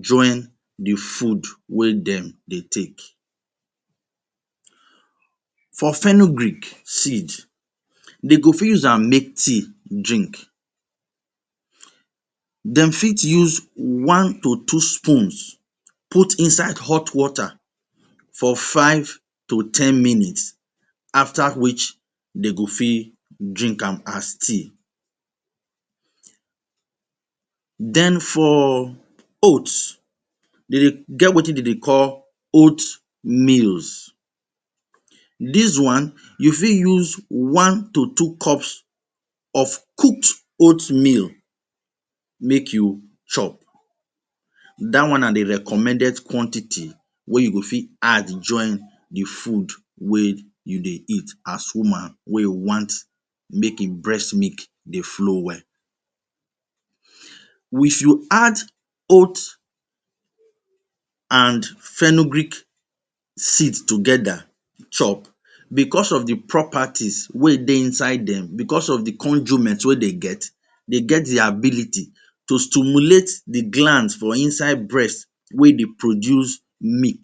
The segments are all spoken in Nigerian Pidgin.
join the food wey dem dey take? For fenugreek seed, dem fit use am make tea drink. Dem fit use one to two spoons put inside hot water for five to ten minutes, after which dem go fit drink am as tea. Then for oat, dem get wetin dem dey call oat meals. This one you fit use one to two cups of oat meal make you chop. Dat one na the recommended quantity wey you fit add join the food wey you dey eat as woman wey want make e breast milk dey follow well. If you add oat and fenugreek seed together chop because of the properties wey dey inside them, because of the conjument wey dem get, dem get the ability to stimulate the gland for inside breast to produce milk.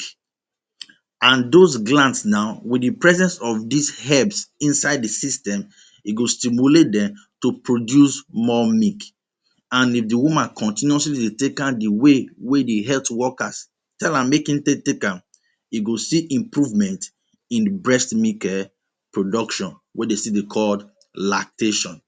And those glands now, with the presence of these helps inside the system, e go stimulate dem to produce more milk. And if the woman continuously dey take am the way wey the health workers tell am make e take am, e go see improvement in e breast milk production wey dem dey call lactation.